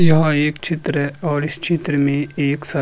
यह एक चित्र और इस चित्र मे एक सर --